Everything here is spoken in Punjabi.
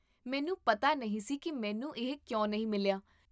ਮੈਨੂ ਪਤਾ ਨਹੀਂ ਸੀ ਕੀ ਮੈਨੂੰ ਇਹ ਕਿਉਂ ਨਹੀਂ ਮਿਲਿਆ